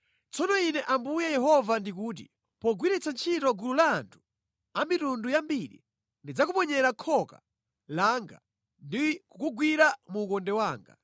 “Tsono Ine Ambuye Yehova ndikuti, “ ‘Pogwiritsa ntchito gulu la anthu a mitundu yambiri, ndidzakuponyera khoka langa ndi kukugwira mu ukonde wanga.